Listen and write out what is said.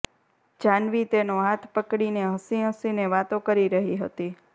જાનવી તેનો હાથ પકડીને હસી હસીને વાતો કરી રહી હતી